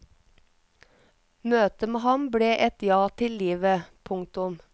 Møtet med ham ble et ja til livet. punktum